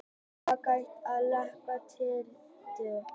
Er hægt að lækna litblindu?